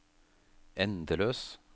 endeløs